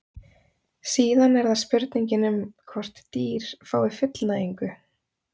Síðan er það spurningin um hvort dýr fái fullnægingu.